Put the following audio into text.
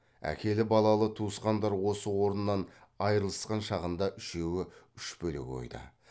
әкелі балалы туысқандар осы орнынан айрылысқан шағында үшеуі үш бөлек ойда